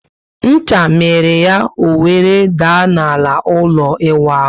Ncha miri ya, o were daa ná ala n'ụlọ iwu ahu